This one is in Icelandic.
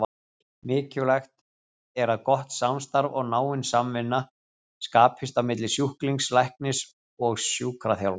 Mikilvægt er að gott samstarf og náin samvinna skapist á milli sjúklings, læknis og sjúkraþjálfara.